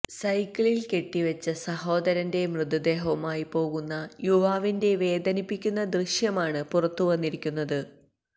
സൈക്കിളില് കെട്ടിവെച്ച സഹോദരന്റെ മൃതദേഹവുമായി പോവുന്ന യുവാവിന്റെ വേദനിപ്പിക്കുന്ന ദൃശ്യമാണ് പുറത്തുവന്നിരിക്കുന്നത്